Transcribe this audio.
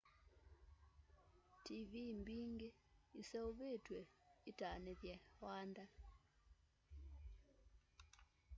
tiivii mbingî iseûvîtw'e itanîthye wanda